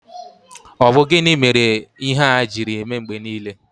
Ọ bụ gịnị mere ihe a jiri eme mgbe niile?